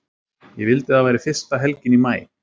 Ég vildi að það væri fyrsta helgin í maí.